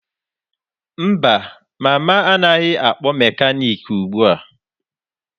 Mba, mama anaghị akpọ mekaniki ugbu a.